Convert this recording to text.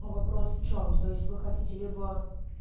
вопрос в чём то есть вы хотите либо